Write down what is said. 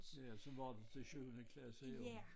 Ja sådan var det til syvende klasse jo